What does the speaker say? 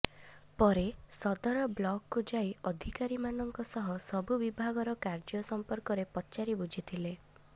ପରେ ସଦର ବ୍ଲକକୁ ଯାଇ ଅଧିକାରୀମାନଙ୍କ ସହ ସବୁ ବିଭାଗର କାର୍ଯ୍ୟ ସଂପର୍କରେ ପଚାରି ବୁଝିଥିଲେ